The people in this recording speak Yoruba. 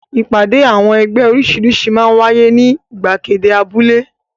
Ìpàdé àwọn ẹgbẹ́ oríṣiríṣi máa ń wáyé ní ìgbàgede abúlé.